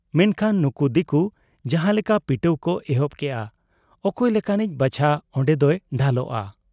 ᱢᱮᱱᱠᱷᱟᱱ ᱱᱩᱠᱩ ᱫᱤᱠᱩ ᱡᱟᱦᱟᱸ ᱞᱮᱠᱟ ᱯᱤᱴᱟᱹᱣ ᱠᱚ ᱮᱦᱚᱵ ᱠᱮᱜ ᱟ, ᱚᱠᱚᱭ ᱞᱮᱠᱟᱱᱤᱡ ᱵᱟᱪᱷᱟ ᱚᱱᱰᱮᱫᱚᱭ ᱰᱷᱟᱞᱚᱜ ᱟ ᱾